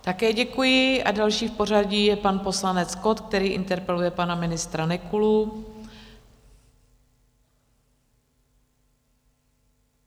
Také děkuji a další v pořadí je pan poslanec Kott, který interpeluje pana ministra Nekulu.